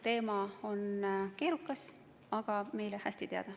Teema on keerukas, aga meile hästi teada.